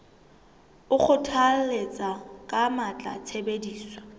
o kgothalletsa ka matla tshebediso